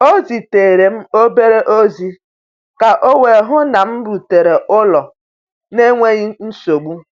O zitere m obere ozi ka o wee hụ na m rutere ụlọ n’enweghị nsogbu.